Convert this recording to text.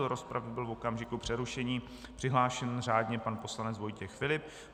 Do rozpravy byl v okamžiku přerušení přihlášen řádně pan poslanec Vojtěch Filip.